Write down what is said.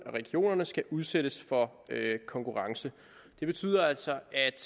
regionerne skal udsættes for konkurrence det betyder altså at